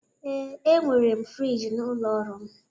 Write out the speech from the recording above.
Ee, enwere m friji n'ụlọ ọrụ m